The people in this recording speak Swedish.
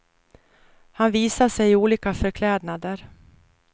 Han visar sig i olika förklädnader.